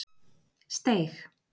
Steig